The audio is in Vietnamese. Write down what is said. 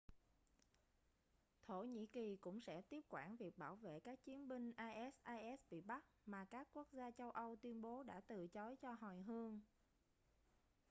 thổ nhĩ kỳ cũng sẽ tiếp quản việc bảo vệ các chiến binh isis bị bắt mà các quốc gia châu âu tuyên bố đã từ chối cho hồi hương